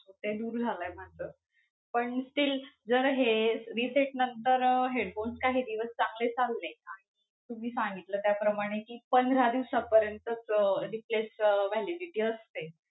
ते दूर झालय माझं. पण still जर हे reset नंतर headphone काही दिवस चांगले चालले आणि तुम्ही सांगितल्या त्याप्रमाणे कि पंधरा दिवसापर्यंतच अं replace अं validity असते.